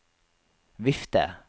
vifte